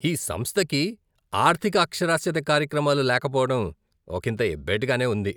ఈ సంస్థకి ఆర్థిక అక్షరాస్యత కార్యక్రమాలు లేకపోవడం ఒకింత ఎబ్బెట్టుగానే ఉంది.